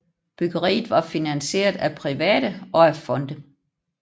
Byggeriet var finansieret af private og af fonde